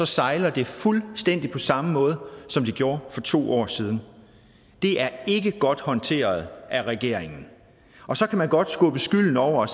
sejler det fuldstændig på samme måde som det gjorde for to år siden det er ikke godt håndteret af regeringen og så kan man godt skubbe skylden over